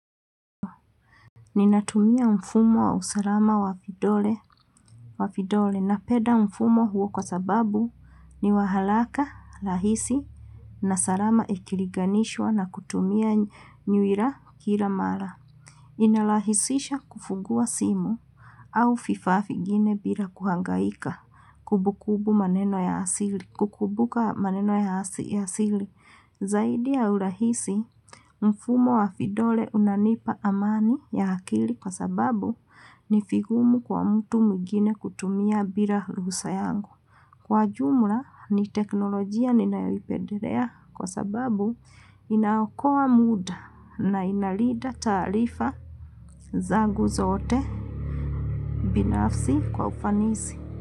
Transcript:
Ninatumia mfumo wa usalama wa vidole na penda mfumo huo kwa sababu ni waharaka, rahisi, na salama ikiliganishwa na kutumia nyui la kila mara. Inarahisisha kufungua simu au viffa vingine bila kuhangaika kukumbuka maneno ya asili. Zaidi ya urahisi, mfumo wa vidole unanipa amani ya akili kwa sababu ni vigumu kwa mtu mwingine kutumia bila ruhusa yangu. Kwa jumla, ni teknolojia ninaoipendelea kwa sababu inaokoa muda na inalinda taarifa zangu zote binafsi kwa ufanisi.